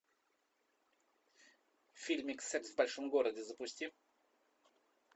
фильмик секс в большом городе запусти